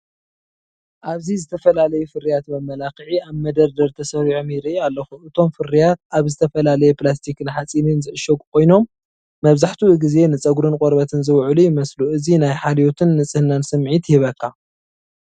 ኣብዚ ዝተፈላለዩ ፍርያት መመላኽዒ ኣብ መደርደሪ ተሰሪዖም ይርኢ ኣለኹ። እቶም ፍርያት ኣብ ዝተፈላለየ ፕላስቲክን ሓጺንን ዝዕሸጉ ኮይኖም፡ መብዛሕትኡ ግዜ ንጸጉርን ቆርበትን ዝውዕሉ ይመስሉ። እዚ ናይ ሓልዮትን ንጽህናን ስምዒት ይህበካ።